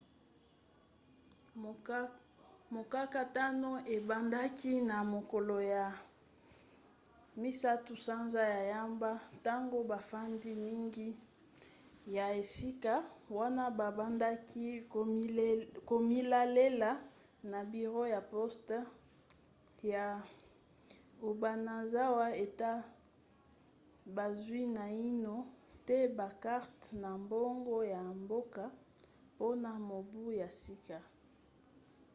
mokakatano ebandaki na mokolo ya 1 sanza ya yambo ntango bafandi mingi ya esika wana babandaki komilelalela na biro ya poste ya obanazawa ete bazwi naino te bakarte na bango ya mboka mpona mobu ya sika